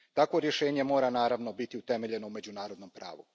Takvo rješenje mora, naravno, biti utemeljeno na međunarodnom pravu.